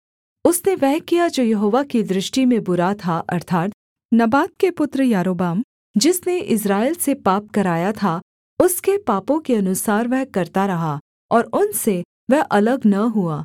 उसने वह किया जो यहोवा की दृष्टि में बुरा था अर्थात् नबात के पुत्र यारोबाम जिसने इस्राएल से पाप कराया था उसके पापों के अनुसार वह करता रहा और उनसे वह अलग न हुआ